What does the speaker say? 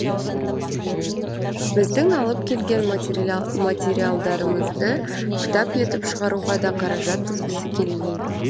біздің алып келген материалдарымызды кітап етіп шығаруға да қаражат бөлгісі келмейді